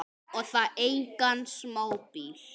Og það engan smábíl.